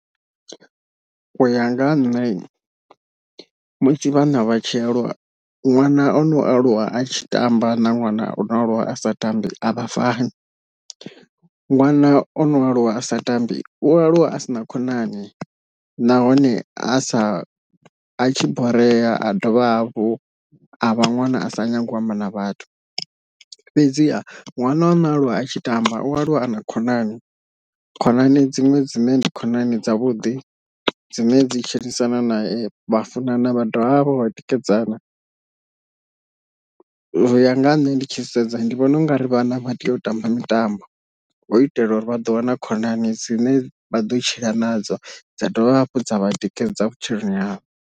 Uya nga ha nṋe musi vhana vha tshi aluwa ṅwana ono aluwa a tshi tamba na ṅwana o aluwa a sa tambi avha fani, ṅwana ono aluwa a sa tambi u aluwa a si na khonani nahone a sa a tshi borea a dovha hafhu a vha ṅwana a sa nyagi u amba na vhathu fhedziha ṅwana a no aluwa a tshi tamba u aluwa a na khonani, khonani dziṅwe dzine ndi khonani dzavhuḓi dzine dzi tshilisana nae vha funana vha dovha vha vha vho vha tikedzana, uya nga ha nṋe ndi tshi sedza ndi vhona u nga ri vhana vha tea u tamba mitambo hu u itela uri vha ḓo wana khonani dzine vha ḓo tshila nadzo dza dovha hafhu dza vha tikedza vhutshiloni havho.